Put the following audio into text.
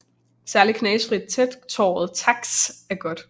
Særligt knastfrit tætåret taks er godt